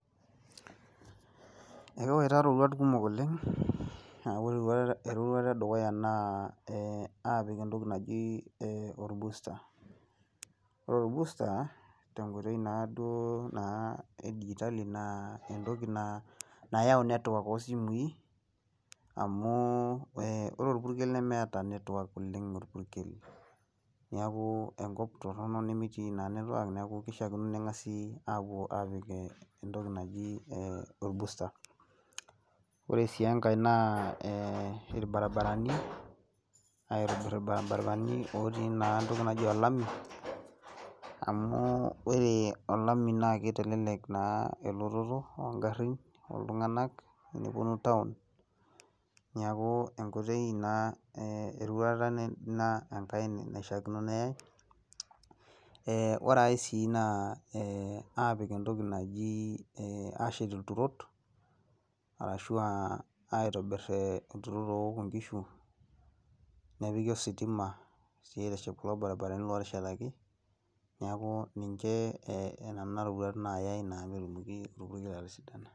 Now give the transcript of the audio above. Ekiwaita roruat kumok oleng neaku ore eroruata edukuya naa eh apik etoki naji eh orbusta ore orbusta te nkoitoi naaduo eitali naa etoki naa nayau network oosimui amu eh ore orpukel nemeata network oleng orpukel neaku enkop torrono nemetii naa network neaku kishakino nengasi apuo apik etoki naji eh orbusta ore sii enkae naa eh aitobir irbaribarani aitobir irbaribarani otii naa etoki naji olami amu ore olami naa ketelelek naa elototo oo garin oo iltunganak teneponu town neaku enkoitoi ina eduata naishikino neyai ore ae si naa eh apik etoki naji eh ashet ilturot arashu aa aitobir aa ilturot oook inkishu nepiki ositima aiteshep kulo baribarani oteshetaki neaku ninche eenena roruat naayai .